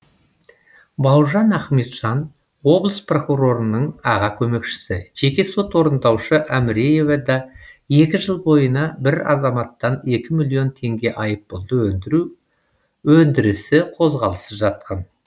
бауыржан ахметжан облыс прокурорының аға көмекшісі жеке сот орындаушы әміреева да екі жыл бойына бір азаматтан екі миллион теңге айыппұлды өндіру өндірісі қозғалыссыз жатқан